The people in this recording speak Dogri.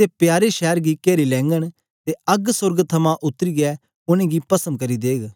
ते प्यारे शैर गी केरी लेघंन ते अग्ग सोर्ग थमां उतरीयै उनेंगी गी पस्म करी देग